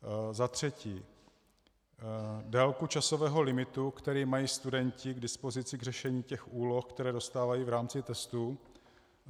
Za třetí, délku časového limitu, který mají studenti k dispozici k řešení těch úloh, které dostávají v rámci testu?